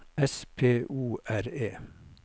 S P O R E